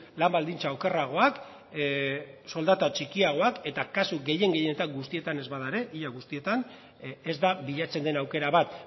lan baldintza okerragoak lan soldata txikiagoak eta kasu gehien gehienetan guztietan ez bada ere ia guztietan ez da bilatzen den aukera bat